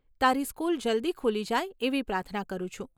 તારી સ્કૂલ જલ્દી ખૂલી જાય એવી પ્રાર્થના કરું છું.